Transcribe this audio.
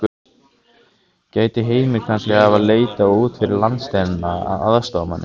Gæti Heimir kannski hafa leitað út fyrir landsteinana að aðstoðarmanni?